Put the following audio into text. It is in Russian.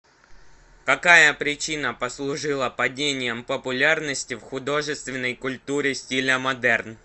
какая причина послужила падением популярности в художественной культуре стиля модерн